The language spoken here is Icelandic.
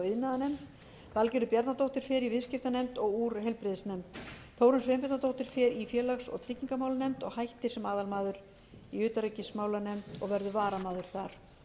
iðnaðarnefnd valgerður bjarnadóttir fer í viðskiptanefnd og úr heilbrigðisnefnd þórunn sveinbjarnardóttir fer í félags og tryggingamálanefnd og hættir sem aðalmaður í utanríkismálanefnd og verður varamaður þar